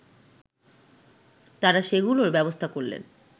তারা সেগুলোর ব্যবস্থা করলেন